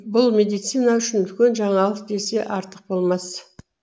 бұл медицина үшін үлкен жаңалық десек артық болмас